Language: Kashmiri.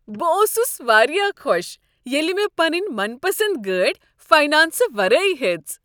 بہٕ اوسُس واریاہ خوش ییلِہ مےٚ پنٕنۍ من پسند گٲڑۍ فاینانسہٕ ورٲیی ہیٔژ ۔